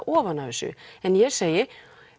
ofan af þessu en ég segi